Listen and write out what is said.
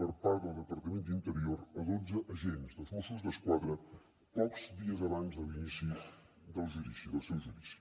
per part del departament d’interior a dotze agents dels mossos d’esquadra pocs dies abans de l’inici del judici del seu judici